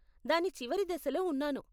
దాని చివరి దశలో ఉన్నాను.